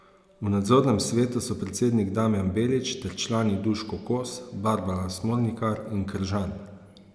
V nadzornem svetu so predsednik Damjan Belič ter člani Duško Kos, Barbara Smolnikar in Kržan.